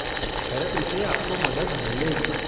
Therapy से आपको मदद मिलेगी।